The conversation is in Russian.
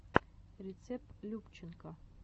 рецепт любченко